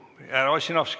Ossinovski, palun!